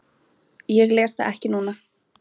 Ég les það ekki núna.